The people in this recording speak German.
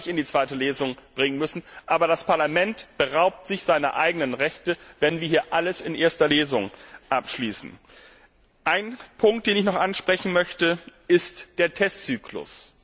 Das hätte man nicht in die Zweite Lesung bringen müssen. Aber das Parlament beraubt sich seiner eigenen Rechte, wenn wir hier alles in erster Lesung abschließen. Einen Punkt möchte ich noch ansprechen den Testzyklus.